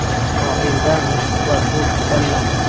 Oilda mushuk bor, u kasallandi.